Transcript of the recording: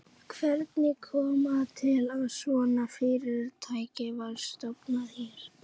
Hvernig kom það til að svona fyrirtæki var stofnað hér?